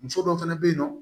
Muso dɔw fɛnɛ bɛ yen nɔ